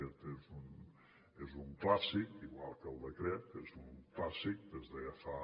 aquest és un clàssic igual que el decret és un clàssic des de ja fa